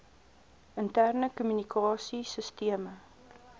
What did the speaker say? interne kommunikasie sisteme